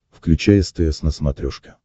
включай стс на смотрешке